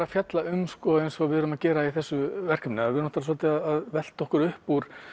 að fjalla um eins og við erum að gera í þessu verkefni við erum svolítið að velta okkur upp úr